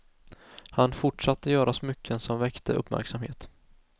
Han fortsatte göra smycken som väckte uppmärksamhet.